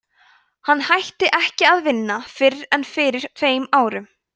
hann hætti ekki að vinna fyrr en fyrir tveim árum